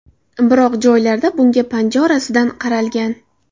Biroq joylarda bunga panja orasidan qaralgan.